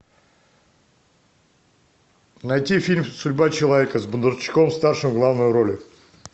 найти фильм судьба человека с бондарчуком старшим в главной роли